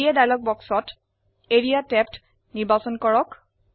area dialogue বাক্সত area ট্যাবটি নিৰ্বাচন কৰক